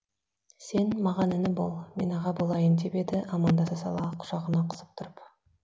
сен маған іні бол мен аға болайын деп еді амандаса сала құшағына қысып тұрып